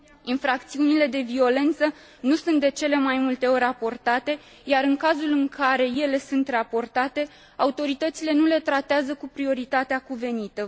Infracțiunile de violență nu sunt de cele mai multe ori raportate, iar, în cazul în care ele sunt raportate, autoritățile nu le tratează cu prioritatea cuvenită.